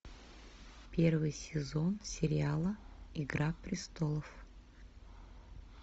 первый сезон сериала игра престолов